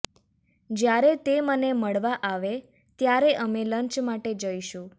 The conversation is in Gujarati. જ્યારે તે મને મળવા આવે ત્યારે અમે લંચ માટે જઇશું